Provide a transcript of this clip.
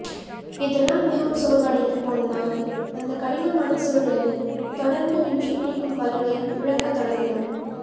இதனால் மிகவும் சோர்வடைந்து போன நாங்கள் அந்த கடினமான சூழலில் தொடர்ந்து நின்று பிடிக்கும் வலுவை இழக்கத் தொடங்கினோம்